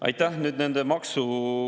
Aitäh!